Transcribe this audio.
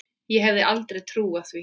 Ég hefði aldrei trúað því.